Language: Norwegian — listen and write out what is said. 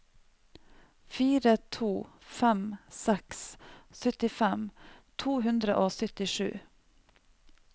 fire to fem seks syttifem to hundre og syttisju